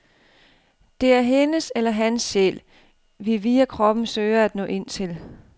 Det er hendes eller hans sjæl, vi via kroppen søger at nå ind til.